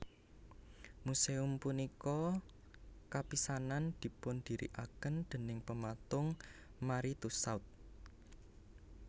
Museum punika kapisanan dipundirikaken déning pematung Marie Tussaud